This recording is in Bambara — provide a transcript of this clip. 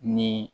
Ni